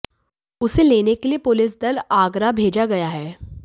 उसे लेने के लिए पुलिस दल आगरा भेजा गया है